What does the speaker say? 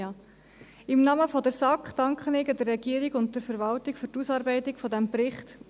Im Namen der SAK danke ich der Regierung und der Verwaltung für die Ausarbeitung dieses Berichts.